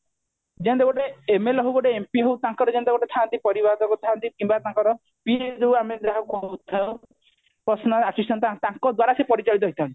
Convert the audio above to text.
ଜେନ୍ତେ ଗୋଟେ MLA ହଉ MP ହଉ ତାଙ୍କର ଯେମିତି ଗୋଟେ ଥାନ୍ତି ପରିବାଦକ ଥାନ୍ତି କିମ୍ବା ତାଙ୍କର PA ଯୋଉ ଆମେ ଯାହା କହୁଥାଉ personal assistant ତାଙ୍କ ଦ୍ଵାରା ସେ ପରିଚାଳିତ ହେଇଥାନ୍ତି